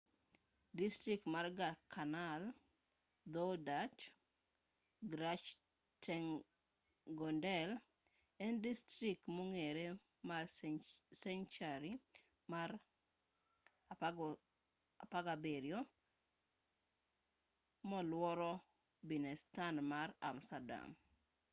distrikt ma canal dho-dutch: gratchtengordel en distrikt mong'ere mar senchari mar 17 moluoro binnenstad mar amsterdam